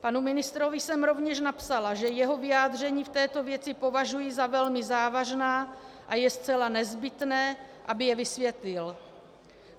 Panu ministrovi jsem rovněž napsala, že jeho vyjádření v této věci považuji za velmi závažná a je zcela nezbytné, aby je vysvětlil.